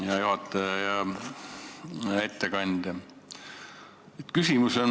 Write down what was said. Hea juhataja ja ettekandja!